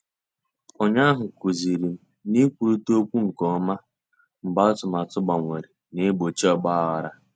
Ụnyaahụ kụzirim na-ikwurita okwu nke ọma mgbe atụmatụ gbanwere na-egbochi ogbaghara.